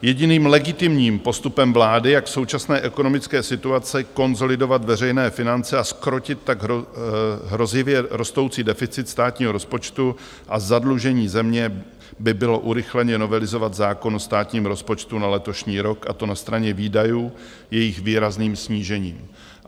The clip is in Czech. Jediným legitimním postupem vlády, jak v současné ekonomické situaci konsolidovat veřejné finance a zkrotit tak hrozivě rostoucí deficit státního rozpočtu a zadlužení země, by bylo urychleně novelizovat zákon o státním rozpočtu na letošní rok, a to na straně výdajů jejich výrazným snížením.